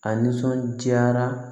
A nisɔnjaara